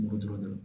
Muru dɔrɔn de don